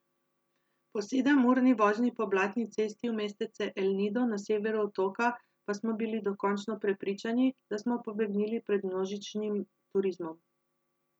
Po sedemurni vožnji po blatni cesti v mestece El Nido na severu otoka pa smo bili dokončno prepričani, da smo pobegnili pred množičnim turizmom.